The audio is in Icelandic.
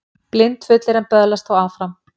Blindfullir en böðlast þó áfram